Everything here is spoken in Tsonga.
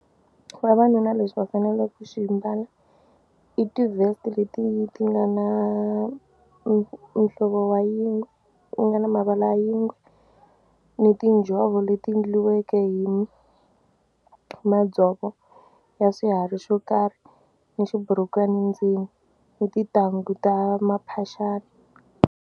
Vavanuna lexi va faneleke ku xi mbala i ti-vest leti ti nga na muhlovo wa yingwe ti nga na mavala yingwe ni tinjhovo leti endliweke hi madzovo ya swiharhi xo karhi ni xiburukwani ndzeni ni tintangu ta maphaxani.